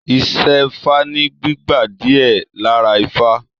Isẹfa ní gbígba diẹ lára ifá.